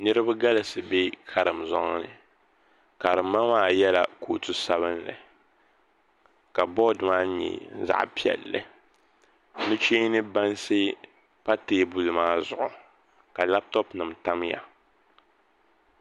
Niraba galisi bɛ karim zoŋni karim ma maa yɛla kootu sabinli ka bood maa nyɛ zaɣ piɛlli nuchee ni bansi pa teebuli maa zuɣu ka labtop nim tamya